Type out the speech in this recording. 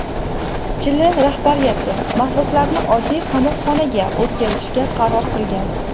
Chili rahbariyati mahbuslarni oddiy qamoqxonaga o‘tkazishga qaror qilgan.